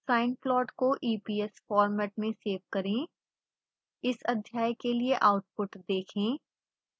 sine plot को eps format में save करें इस अध्याय के लिए आउटपुट देखें